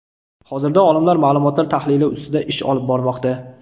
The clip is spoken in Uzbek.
Hozirda olimlar ma’lumotlar tahlili ustida ish olib bormoqda.